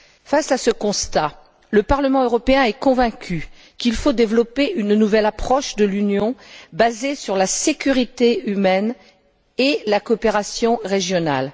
Face à ce constat, le Parlement européen est convaincu qu'il faut développer une nouvelle approche de l'Union basée sur la sécurité humaine et la coopération régionale.